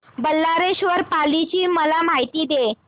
बल्लाळेश्वर पाली ची मला माहिती दे